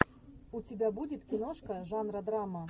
у тебя будет киношка жанра драма